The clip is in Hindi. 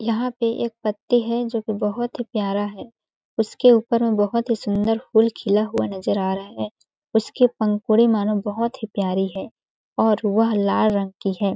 यहाँ पर एक पत्ते है जोकि बहुत ही प्यारा है उसके ऊपर में बहुत ही सुंन्दर फूल खिला हुआ नज़र आ रहा है उसकी पंखुड़ी मानो बहुत ही प्यारी है और वह लाल रंग की हैं ।